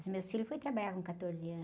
Os meus filhos foram trabalhar com quatorze anos.